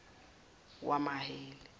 wamaheli